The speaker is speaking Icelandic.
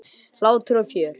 Hlátur og fjör.